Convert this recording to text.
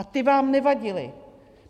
A ty vám nevadily.